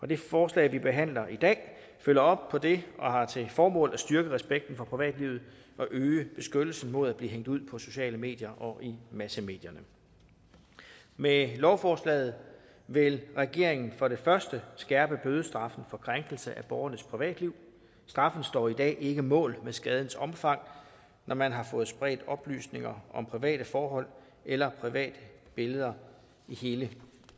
det forslag vi behandler i dag følger op på det og har til formål at styrke respekten for privatlivet og øge beskyttelsen mod at blive hængt ud på sociale medier og i massemedierne med lovforslaget vil regeringen for det første skærpe bødestraffen for krænkelse af borgernes privatliv straffen står i dag ikke mål med skadens omfang når man har fået spredt oplysninger om private forhold eller private billeder i hele